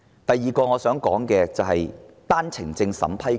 第二個我想談論的問題是單程證審批權。